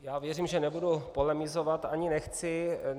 Já věřím, že nebudu polemizovat, ani nechci.